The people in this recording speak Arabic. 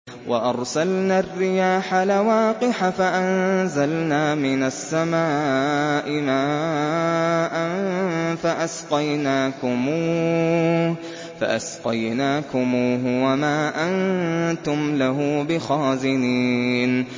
وَأَرْسَلْنَا الرِّيَاحَ لَوَاقِحَ فَأَنزَلْنَا مِنَ السَّمَاءِ مَاءً فَأَسْقَيْنَاكُمُوهُ وَمَا أَنتُمْ لَهُ بِخَازِنِينَ